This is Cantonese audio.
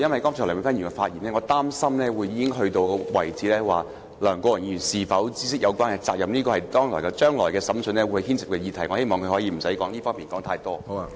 我擔心梁美芬議員剛才的發言已經到了一個程度，論及梁國雄議員是否知悉有關責任，這是將來審訊會牽涉的議題，我希望她不要在這方面說太多。